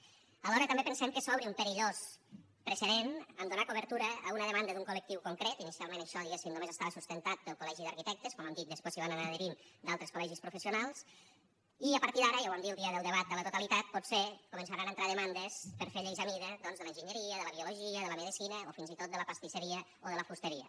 alhora també pensem que s’obre un perillós precedent a donar cobertura a una demanda d’un col·lectiu concret inicialment això diguem ne només estava sustentat pel col·legi d’arquitectes com hem dit després s’hi van anar adherint altres col·legis professionals i a partir d’ara ja ho vam dir el dia del debat a la totalitat potser començaran a entrar demandes per fer lleis a mida doncs de l’enginyeria de la biologia de la medecina o fins i tot de la pastisseria o de la fusteria